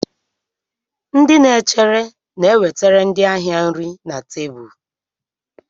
Ndị na-echere na-ewetara ndị ahịa nri na tebụl.